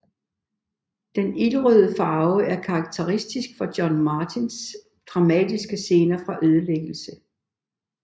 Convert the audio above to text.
Den ildrøde farve er karakteristisk for John Martins dramatiske scener af ødelæggelse